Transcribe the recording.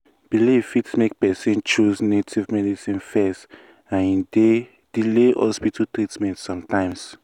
belief fit make person choose native medicine first and e dey delay hospital treatment sometimes.